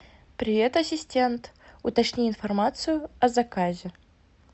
привет ассистент уточни информацию о заказе